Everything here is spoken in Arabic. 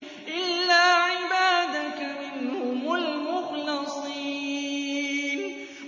إِلَّا عِبَادَكَ مِنْهُمُ الْمُخْلَصِينَ